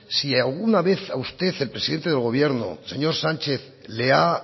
si alguna vez a usted el presidente del gobierno señor sánchez le ha